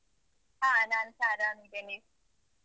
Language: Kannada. ಹ. ನಾನ್ಸ ಆರಾಮಿದ್ದೇನೆ.